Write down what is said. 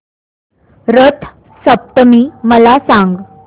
रथ सप्तमी मला सांग